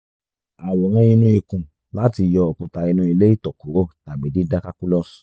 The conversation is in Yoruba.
àwòrán inú ikùn láti yọ òkuta inu ilé ìtọ̀ kúrò tàbí dídá calculus